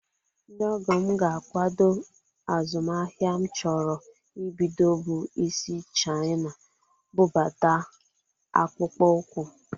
Ndị ọgọ m ga-akwado azụmaahịa m chọrọ ibido bụ isi Chaina bụbata akpụkpọ ụkwụ